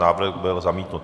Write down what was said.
Návrh byl zamítnut.